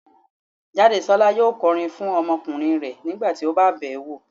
Jádesọ́lá yóò kọrin fún ọmọkùnrin rẹ̀ nígbà tí ó bá bẹ̀ẹ́ wo